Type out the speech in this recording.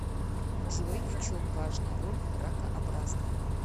джой в чем важная роль ракообразных